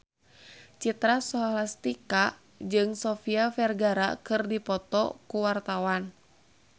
Citra Scholastika jeung Sofia Vergara keur dipoto ku wartawan